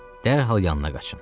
Dərhal yanına qaçın.